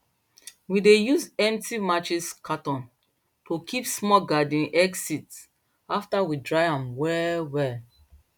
we dey use empty matches cartoon to kip small garden egg seeds after we dry am well well